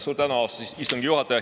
Suur tänu, austatud istungi juhataja!